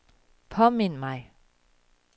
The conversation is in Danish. påmind mig